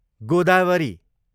Godavari